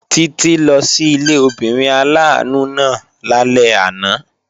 Títí lọ sí ilé obìnrin aláàánú náà lálẹ́ àná